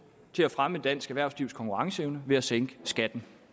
til at fremme dansk erhvervslivs konkurrenceevne ved at sænke skatten